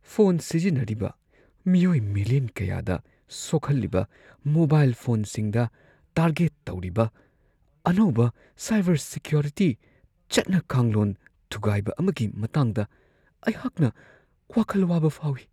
Phone ꯁꯤꯖꯤꯟꯅꯔꯤꯕ ꯃꯤꯑꯣꯏ million ꯀꯌꯥꯗ ꯁꯣꯛꯍꯜꯂꯤꯕ ꯃꯣꯕꯥꯏꯜ ꯐꯣꯟꯁꯤꯡꯗ ꯇꯥꯔꯒꯦꯠ ꯇꯧꯔꯤꯕ ꯑꯅꯧꯕ ꯁꯥꯏꯕꯔ ꯁꯤꯀ꯭ꯌꯣꯔꯤꯇꯤ ꯆꯠꯅ ꯀꯥꯡꯂꯣꯟ ꯊꯨꯒꯥꯏꯕ ꯑꯃꯒꯤ ꯃꯇꯥꯡꯗ ꯑꯩꯍꯥꯛꯅ ꯋꯥꯈꯜ ꯋꯥꯕ ꯐꯥꯎꯢ ꯫